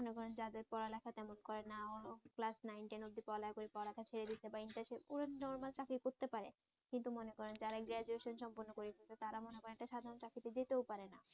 মনে করেন যাদের পড়ালেখা তেমন করে নাও ক্লাস নাইন টেন অব্দি পড়ালেখা করে পড়ালেখা ছেড়ে দিয়েছে বা ইন্টার শেষ ওরা নরমাল চাকরি করতে পারে কিন্তু মনে করেন যারা গ্রাজুয়েশন সম্পন্ন করেছে তারা মনে করেন একটা সাধারন চাকরিতে যেতেও পারে না।